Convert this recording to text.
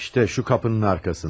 İştə şu kapının arxasında.